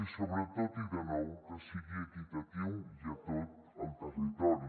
i sobretot i de nou que sigui equitatiu i a tot el territori